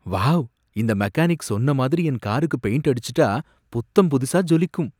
Wow! இந்த mechanic சொன்ன மாதிரி என் காருக்கு பெயிண்ட் அடிச்சுட்டா புத்தம் புதிசா ஜொலிக்கும்.